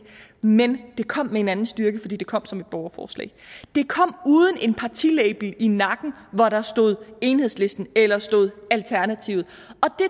men det kom med en anden styrke fordi det kom som et borgerforslag det kom uden en partilabel i nakken hvor der stod enhedslisten eller alternativet